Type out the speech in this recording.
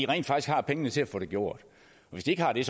rent faktisk har pengene til at få det gjort hvis de ikke har det